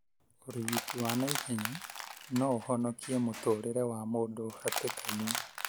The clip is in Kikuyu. ũrigiti wa naihenya no ũhonokie mũturĩre wa mũndu hatĩkainĩ